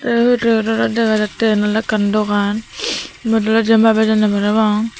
tey ibet olodey dega jattey iyen oley ekkan dogan iyot oley jian pai bejonney parapang.